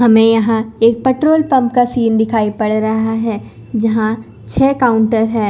हमें यहां एक पेट्रोल पंप का सीन दिखाई पड़ रहा है जहां छह काउंटर है।